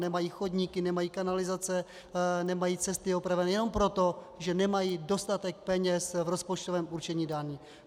Nemají chodníky, nemají kanalizace, nemají cesty opraveny jenom proto, že nemají dostatek peněz v rozpočtovém určení daní.